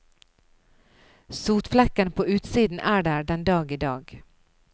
Sotflekkene på utsiden er der den dag i dag.